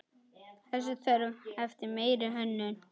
Þessi þörf eftir meiri hönnun.